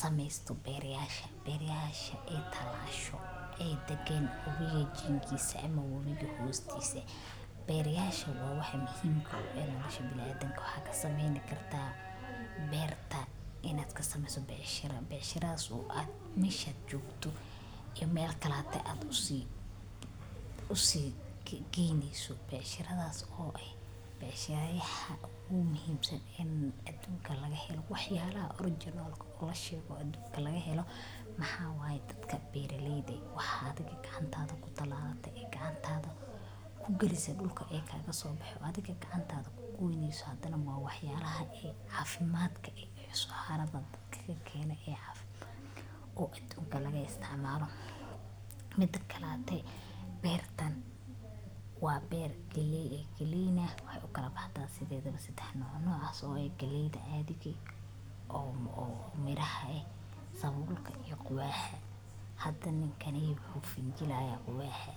sameysta beeraleyda, beeraleyda talasho oo degan wabiga jinkiisa ama wabiga hoostiisa. Beeraleyda waa waax muhiim u ah nolosha bini’aadamka. Waxaad ka sameyn kartaa beerta inaad ka sameyso beecsharo, beecsharadaas oo meesha joogto iyo meel kalato u sii geyneyso. Beecshoradaas oo ay beecshirayasha ugu muhiimsan aduunka laga helo, waa waxyaalaha original-ka la sheego oo aduunka laga helo. Waa dadka beeraleyda ah. Waxaa adhi gacantaada ku tallaalay, gacantaada ku gelisay dhulka kaga soo baxay, oo adhiga haddana gacantaada ku goynayso. Waa waxyaalaha caafimaad leh oo saxaradaha dadka ka keenno oo aduunka laga isticmaalo. Midda kale, beertan waa mit galley ah. Galley-na sidaad ogtahay waxay u kala baxdaa saddex nooc. Noocyadaas oo ah galleyda caadiga ah, miraha sabulka, iyo quwaxa. Hadda ninkaan wuxuu fujinayaa quwaxa.